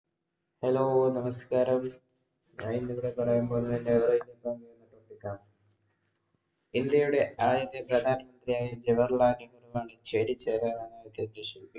Hello നമസ്കാരം. ഞാൻ ഇന്നിവിടെ പറയാൻ പോകുന്നത് എന്‍റെ ഇന്ത്യയുടെ ആദ്യത്തെ പ്രധാനമന്ത്രിയായ ജവഹർലാൽനെഹ്രുവാണ് ചേരിചേരാ